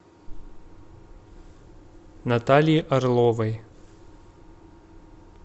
натальи орловой